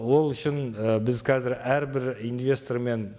ол үшін і біз қазір әрбір инвестормен